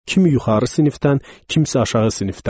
Kimi yuxarı sinifdən, kimsə aşağı sinifdəndir.